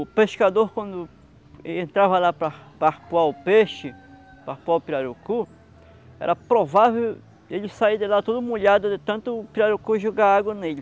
O pescador, quando entrava lá para arpoar o peixe, para arpoar o pirarucu, era provável ele sair de lá todo molhado de tanto o pirarucu jogar água nele.